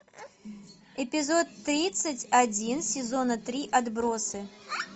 эпизод тридцать один сезона три отбросы